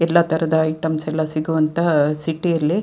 ಎಲ್ಲ ತರಹದ ಐಟಮ್ಸ್ ಎಲ್ಲ ಸಿಗುವಂಥ ಸಿಟಿಯಲ್ಲಿ --